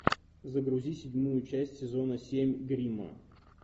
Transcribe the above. загрузи седьмую часть сезона семь гримма